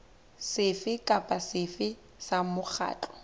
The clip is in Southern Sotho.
sefe kapa sefe sa mokgatlo